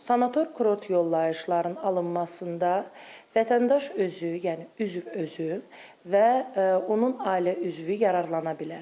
Sanator kurort yollayışların alınmasında vətəndaş özü, yəni üzv özü və onun ailə üzvü yararlana bilər.